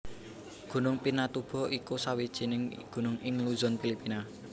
Gunung Pinatubo iku sawijining gunung ing Luzon Filipina